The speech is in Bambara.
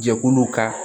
Jɛkuluw ka